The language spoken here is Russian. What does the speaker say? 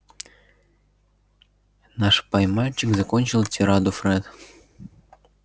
наш пай-мальчик закончил тираду фред